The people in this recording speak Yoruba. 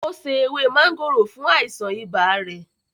Ó se ewé máńgòrò fún àìsàn ibà rẹ̀